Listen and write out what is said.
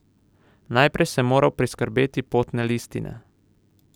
Najprej sem moral priskrbeti potne listine.